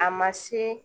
A ma se